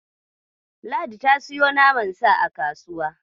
Ladi ta siyo naman Sa a kasuwa.